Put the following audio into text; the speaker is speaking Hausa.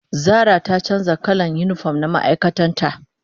zara ta canja kalan unipom na ma'aikatan ta